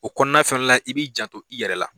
O kɔnɔna fɛnɛ la i b'i janto i yɛrɛ la